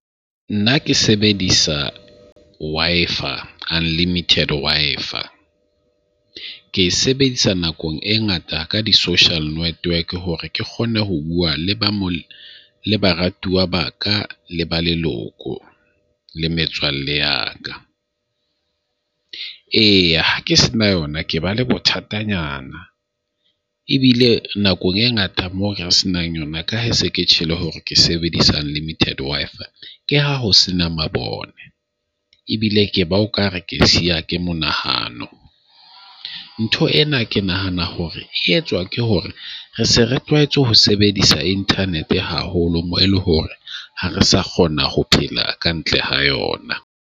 Nna ke sebedisa Wi-Fi Unlimited Wi-Fi. Ke sebedisa nakong e ngata ka di-social network hore ke kgone ho bua le ba mo le baratuwa ba ka le ba leloko, le metswalle ya ka. E, ha ke se na yona, ke ba le bothatanyana ebile nakong e ngata mo ka se nang yona ka ha se ke tjhelo hore ke sebedisa unlimited Wi-Fi ke ha ho sena mabone. Ebile ke ba o ka re ke siya ke monahano. Ntho ena ke nahana hore e etswa ke hore re se re tlwaetse ho sebedisa internet haholo, moo eleng hore ha re sa kgona ho phela kantle ha yona.